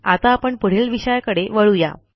आता आपण पुढील विषयाकडे वळू या